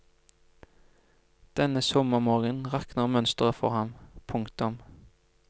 Denne sommermorgenen rakner mønsteret for ham. punktum